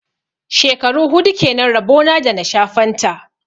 Shekaru hudu kenan rabo na da na sha fanta.